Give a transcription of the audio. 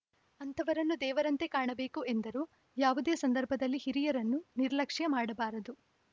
ಅಂಥವರನ್ನು ದೇವರಂತೆ ಕಾಣಬೇಕು ಎಂದರು ಯಾವುದೇ ಸಂದರ್ಭದಲ್ಲಿ ಹಿರಿಯರನ್ನು ನಿರ್ಲಕ್ಷ್ಯ ಮಾಡಬಾರದು